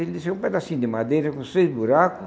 Ele disse, é um pedacinho de madeira com seis buracos,